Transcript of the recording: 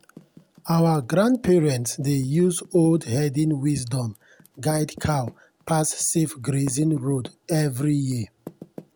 our grandparents dey use old herding wisdom guide cow pass safe grazing road every year.